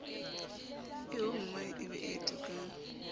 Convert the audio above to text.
eommae e be e tukang